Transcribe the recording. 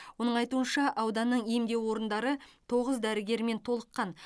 оның айтуынша ауданның емдеу орындары тоғыз дәрігермен толыққан